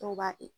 Dɔw b'a